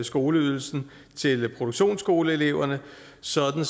skoleydelsen til produktionsskoleeleverne sådan